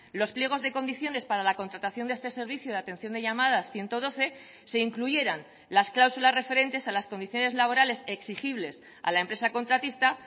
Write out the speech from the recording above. los pliegos de condiciones para la contratación de este servicio de atención de llamadas ciento doce se incluyeran las cláusulas referentes a las condiciones laborales exigibles a la empresa contratista